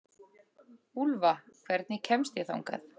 Úlfa, hvernig kemst ég þangað?